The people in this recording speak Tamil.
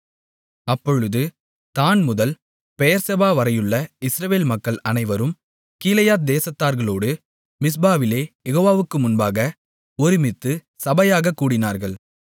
அப்பொழுது தாண்முதல் பெயெர்செபா வரையுள்ள இஸ்ரவேல் மக்கள் அனைவரும் கீலேயாத் தேசத்தார்களோடு மிஸ்பாவிலே யெகோவாவுக்கு முன்பாக ஒருமித்து சபையாகக் கூடினார்கள்